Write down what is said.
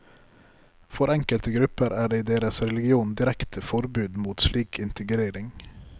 For enkelte grupper er det i deres religion direkte forbud mot slik integrering.